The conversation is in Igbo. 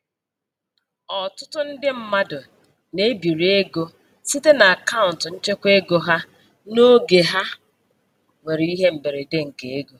Ọtụtụ ndị mmadụ na-ebiri ego site n'akaụntụ nchekwaego ha n'oge ha nwere ihe mberede nke ego.